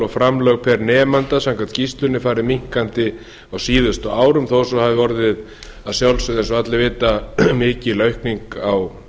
og framlög pr nemanda samkvæmt skýrslunni fari minnkandi á síðustu árum þó svo hafi orðið að sjálfsögðu eins og allir vita mikil aukning á